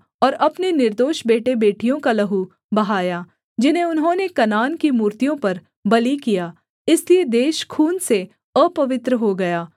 और अपने निर्दोष बेटेबेटियों का लहू बहाया जिन्हें उन्होंने कनान की मूर्तियों पर बलि किया इसलिए देश खून से अपवित्र हो गया